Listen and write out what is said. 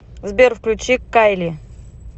сбер включи кайли